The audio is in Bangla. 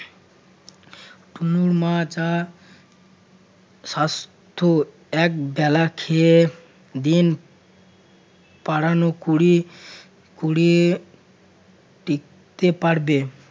তুমি মা টা স্বাস্থ্য একবেলা খেয়ে দিন পাড়ানো কুড়ি~ কুড়িয়ে টিকতে পারবে